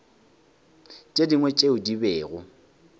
tše dingwe tšeo di bego